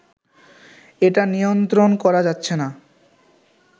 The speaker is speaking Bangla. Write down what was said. এটা নিয়ন্ত্রণ করা যাচ্ছে না